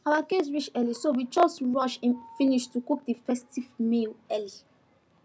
our guests reach early so we just rush finish to cook the festive meal early